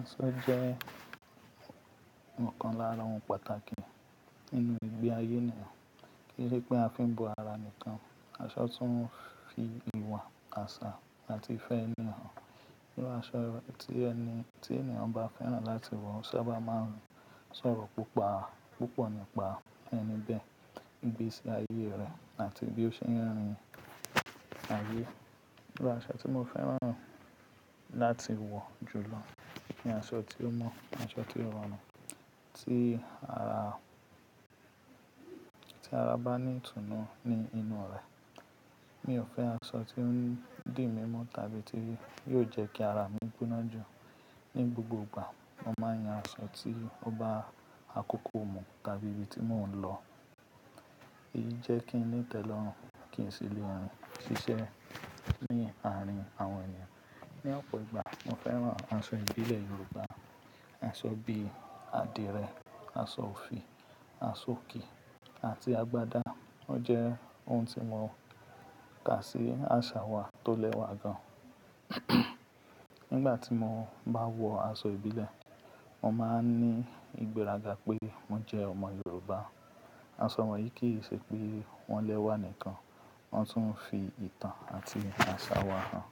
Aṣọ jẹ́ ọ̀kan lára ohun pàtàkì nínú ìgbé ayé ènìyàn. Kì í ṣe pé a fi ń bo ara nìkan, aṣọ tún ń fi ìwà, àṣà àti ìfẹ́ ènì hàn. Irú aṣọ tí ẹni-- tí ènìyàn bá fẹ́ràn láti wọ sábà máa ń sọ̀rọ̀ púpọ̀, púpọ̀ nípa ẹni bẹ́ẹ̀, ìgbésí ayé rẹ̀ àti bí ó ṣe ń rìn ayé. Irú aṣọ tí mo fẹ́ràn láti wọ jù lọ ni aṣọ tí ó mọ́, aṣọ tí ó rọrùn, tí ara, tí ara bá ní ìtùnú ní inú rẹ̀. Mi ò fẹ́ aṣọ tí ó ń dì mí mu tàbí tí yóò jẹ́ kí ara mi gbóná jù. Ni gbogbo ìgbà, mo máa ń yan aṣọ tí ó bá àkókò mu tàbí ibi tí mò ń lọ. Èyí jẹ́ kí ń tẹ̀lé ọ̀ràn kí n sì lè rìn ṣíṣe ní àárín àwọn ènìyàn. Ni ọ̀pọ̀ ìgbà, mo fẹ́ràn aṣọ ìbílẹ̀ Yorùbá. Aṣọ bí i àdìrẹ, aṣọ òfì, aṣọòkè àti agbádá. Ó jẹ́ ohun tí mo kà sí àṣà wa tó lẹ́wà gan. Nígbà tí mo bá wọ aṣọ ìbílẹ̀, mo máa ń ní ìgbéraga pé mo jẹ́ ọmọ Yorùbá. Aṣọ wọ̀nyí kì í ṣe pé wọ́n lẹ́wà nìkan, wọ́n tún ń fi ìtàn àti àṣà wa hàn.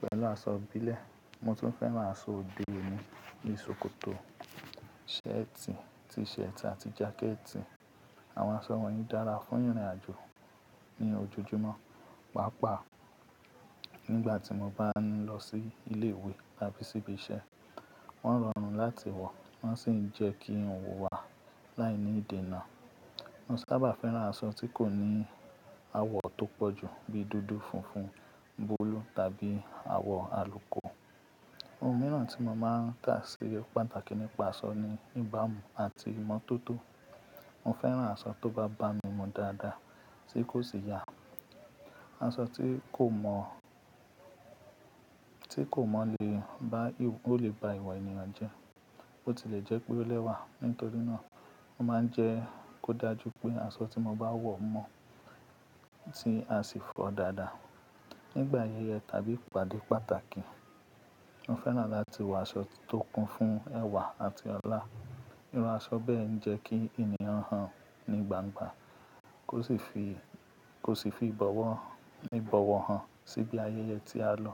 Pẹ̀lú aṣọ ìbílẹ̀, mo tún fẹ́ràn aṣọ òde òní bí i ṣòkòtò, ṣẹ́ẹ̀tì, t-shirt àti jákẹ́ẹ̀tì. Àwọn aṣọ wọ̀nyí dára fún ìrìn àjò ní ojoojúmọ́, pàápàá nígbà tí mo bá ń lọ sí ilé ìwé tàbí sí ibi iṣẹ́. Wọ́n rọrùn láti wọ, wọ́n sì ń jẹ́ kí ń wá láì ní ìdènà. Mo sábà fẹ́ràn aṣọ tí kò ní àwọ̀ tó pọ̀ jù bíi dúdú, funfun, búlú tàbí àwọ̀ àlùko Ohun mìíràn tí mo máa ń kà sí pàtàkì nípa aṣọ ni ìbámu àti ìmọ̀ tó tó. Mo fẹ́ràn aṣọ tó bá bá mi mu dáadáa tí kò sì yà. Aṣọ tí kò mọ̀, tí kò mọ̀ lè bá, ó lè bá ìwà ènìyàn jẹ́. Bo ti lè jẹ́ pé ó lẹ́wà. Nítorí náà, mo máa ń jẹ́ kó dájú pé aṣọ tí mo bá wọ mọ́, tí a sì fọ́ dáadáa. Ni ìgbà ayẹyẹ tàbí ìpàdé pàtàkì, mo fẹ́ràn láti wọ aṣọ tó kún fún ẹ̀wà àti ọlá. Irú aṣọ bẹ́ẹ̀ ń jẹ́ kí ènìyàn hàn ní gbangba, kò sì fi, kò sì fi ìbọ̀wọ̀, ní ìbọ̀wọ̀ hàn síbi ayẹyẹ tí a lọ.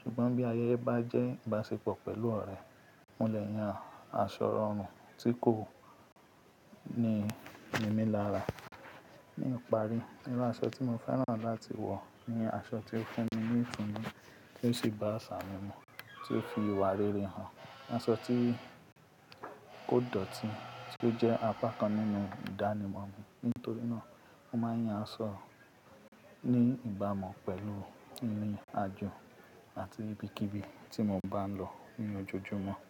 Ṣùgbọ́n bí ayẹyẹ bá jẹ́ ìbáṣepọ̀ pẹ̀lú ọ̀rẹ́, mo lè yan aṣọ rọrùn tí kò ní mímí lára. Ní ìparí, irú aṣọ tí mo fẹ́ràn láti wọ ni aṣọ tí ó fún mi ní ìtùnú tí ó sì bá àṣà mi mu, tí ó fi ìwà rere hàn. Aṣọ tí kó dọ̀tí tí ó jẹ́ apá kan nínú ìdánimọ̀ mi. Nítorí náà, mo máa ń yan aṣọ ní ìbámu pẹ̀lú ìrìn àjò àti ibikíbi tí mo bá ń lọ ní ojoojúmọ́.